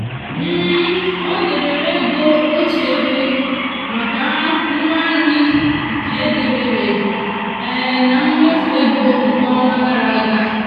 o debere ego otu ebe maka ngwa nri ke dabeere na mmefu ego nke ọnwa gara aga.